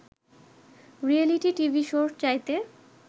reality TV শোর চাইতে